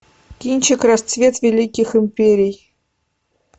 кинчик расцвет великих империй